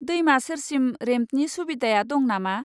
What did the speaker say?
दैमा सेरसिम रेम्पनि सुबिदाया दं नामा?